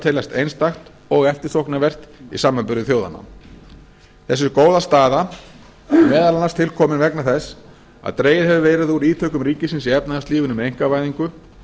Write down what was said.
teljast einstakt og eftirsóknarvert í samanburði þjóðanna þessi góða staða er meðal annars tilkomin vegna þess að dregið hefur verið úr ítökum ríkisins í efnahagslífinu með einkavæðingu